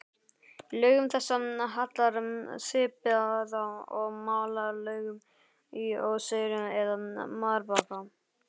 Lögum þessum hallar svipað og malarlögum í óseyri eða marbakka.